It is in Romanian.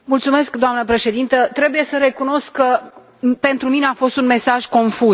Doamnă președintă, trebuie să recunosc că pentru mine a fost un mesaj confuz.